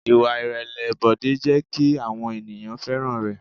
Ìwà ìrẹ̀lẹ̀ Bọ̀dé jẹ́ kí àwọn ènìyàn fẹ́ràn rẹ̀.